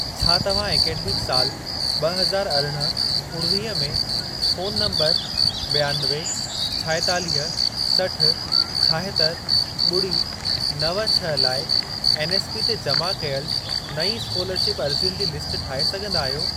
छा तव्हां ऐकडेमिक साल ॿ हज़ार अरिड़हं, उणिवीह में, फोन नंबर बि॒यानवे, छाएतालीह, सठ, छाहतरि, ॿुड़ी नव छह लाइ एनएसपी ते जमा कयल नईं स्कोलरशिप अर्ज़ियुनि जी लिस्ट ठाहे सघंदा आहियो।